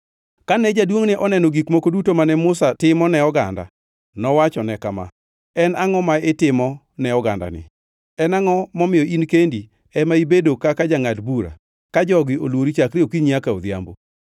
Kane jaduongʼne oneno gik moko duto mane Musa timo ne oganda, nowacho ne kama, “En angʼo ma itimo ne ogandani? En angʼo momiyo in kendi ema ibedo kaka jangʼad bura, ka jogi olwori chakre okinyi nyaka odhiambo?”